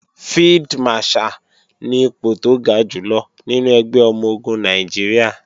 Field Marshal ni ipò tó ga jùlọ nínú ẹgbẹ́ ọmọ-ogun Nàìjíríà